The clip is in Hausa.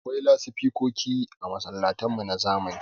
Akwai lasifikoki a masallatan mu na zamani.